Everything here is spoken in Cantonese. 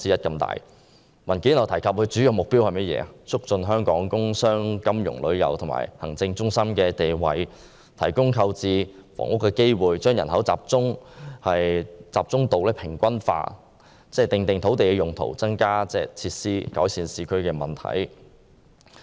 根據該份文件，都會計劃的主要目標是促進香港工商、金融、旅遊及行政中心的地位，提供購置房屋的機會，將人口集中度平均化，訂定土地用途，增加設施，改善市區問題。